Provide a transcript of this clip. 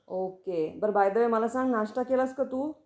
Okay. बर by the way मला सांग नाश्ता केलास का तू?